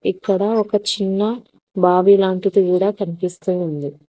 ఇక్కడ ఒక చిన్న బావి లాంటిది కూడా కనిపిస్తూ ఉంది.